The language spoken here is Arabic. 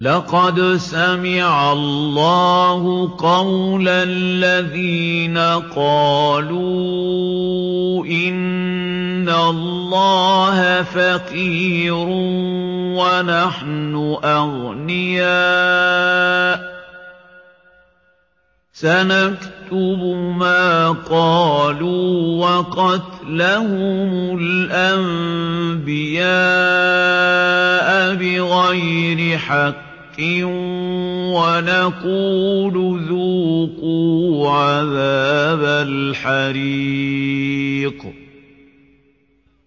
لَّقَدْ سَمِعَ اللَّهُ قَوْلَ الَّذِينَ قَالُوا إِنَّ اللَّهَ فَقِيرٌ وَنَحْنُ أَغْنِيَاءُ ۘ سَنَكْتُبُ مَا قَالُوا وَقَتْلَهُمُ الْأَنبِيَاءَ بِغَيْرِ حَقٍّ وَنَقُولُ ذُوقُوا عَذَابَ الْحَرِيقِ